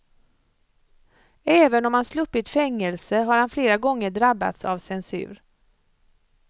Även om han sluppit fängelse, har han flera gånger drabbats av censur.